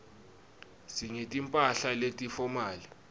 singeti mphahla leti fomali